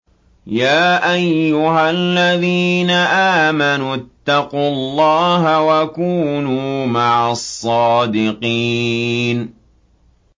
يَا أَيُّهَا الَّذِينَ آمَنُوا اتَّقُوا اللَّهَ وَكُونُوا مَعَ الصَّادِقِينَ